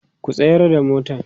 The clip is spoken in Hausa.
ku tsayar da motan!.